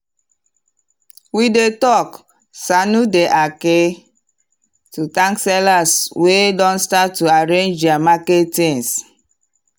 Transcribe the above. we dey talk “sannu da aiki” to thank sellers wey don start to arrange their market things.